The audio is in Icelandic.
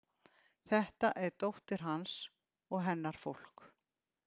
Þetta er dóttir hans og hennar fólk.